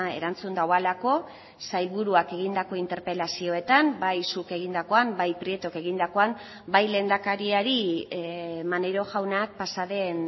erantzun duelako sailburuak egindako interpelazioetan bai zuk egindakoan bai prietok egindakoan bai lehendakariari maneiro jaunak pasa den